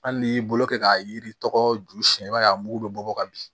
Hali n'i y'i bolo kɛ k'a yiri tɔgɔ ju siɲɛ i b'a ye a mugu bɛ bɔ ka bin